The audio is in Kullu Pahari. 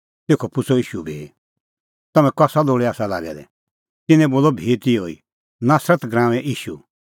तेखअ पुछ़अ ईशू भी तम्हैं कसा लोल़ै आसा लागै दै तिन्नैं बोलअ भी तिहअ ई नासरत नगरीए ईशू